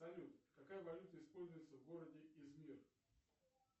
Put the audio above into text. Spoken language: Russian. салют какая валюта используется в городе измир